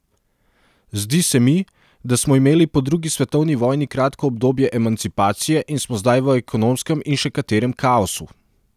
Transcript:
Zdi se mi, da smo imeli po drugi svetovni vojni kratko obdobje emancipacije in smo zdaj v ekonomskem in še katerem kaosu.